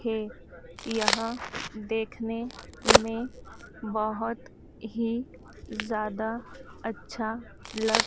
के यहां देखने में बहोत ही ज्यादा अच्छा लग--